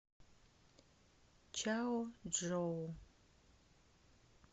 чаочжоу